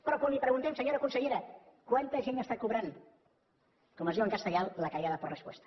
però quan li preguntem senyora consellera quanta gent està cobrant com es diu en castellà la callada por respuesta